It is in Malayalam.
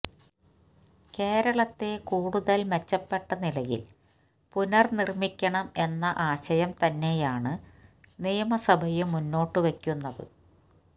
കേരളത്തെ കൂടുതൽ മെച്ചപ്പെട്ടനിലയിൽ പുനർനിർമ്മിക്കണം എന്ന ആശയം തന്നെയാണ് നിയമസഭയും മുന്നോട്ടുവയ്ക്കുന്നത്